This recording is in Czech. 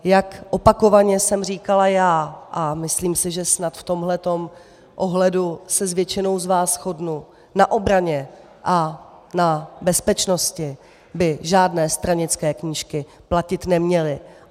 Jak opakovaně jsem říkala já, a myslím si, že snad v tomto ohledu se s většinou z vás shodnu, na obraně a na bezpečnosti by žádné stranické knížky platit neměly.